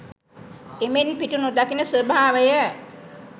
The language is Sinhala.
එමෙන් පිටු නොදකින ස්වභාවය